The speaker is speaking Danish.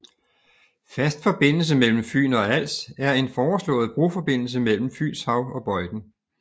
Fast forbindelse mellem Fyn og Als er en foreslået broforbindelse mellem Fynshav og Bøjden